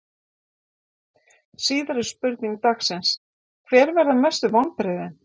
Síðari spurning dagsins: Hver verða mestu vonbrigðin?